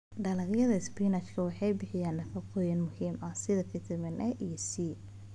Dalagyada spinach waxay bixiyaan nafaqooyin muhiim ah sida fiitamiin A iyo C.